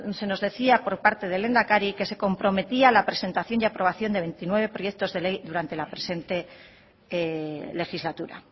se nos decía por parte del lehendakari que se comprometía a la presentación y aprobación de veintinueve proyectos de ley durante la presente legislatura